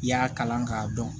I y'a kalan k'a dɔn